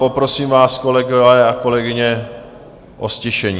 Poprosím vás, kolegové a kolegyně, o ztišení.